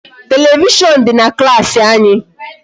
Television dị na klaasị anyị.